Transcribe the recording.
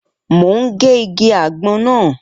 Mo ń gé igi àgbon náà.